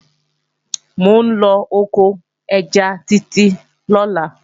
Mò ń lọ oko ẹja Títí lọ́la